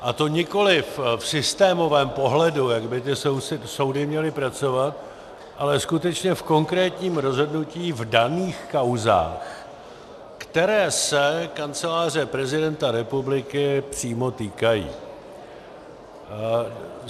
A to nikoliv v systémovém pohledu, jak by ty soudy měly pracovat, ale skutečně v konkrétním rozhodnutí v daných kauzách, které se Kanceláře prezidenta republiky přímo týkají.